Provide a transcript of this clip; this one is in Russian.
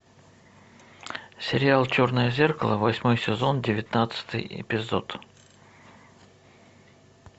сериал черное зеркало восьмой сезон девятнадцатый эпизод